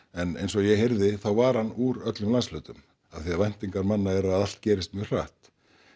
en eins og ég heyrði þá var hann úr öllum landshlutum af því að væntingar manna eru að allt gerist mjög hratt